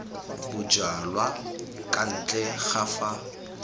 bojalwa kwa ntle ga fa